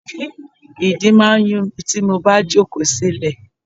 Ìdí máa ń yun mi tí mo bá jókòó silẹ.